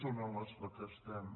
són en les que estem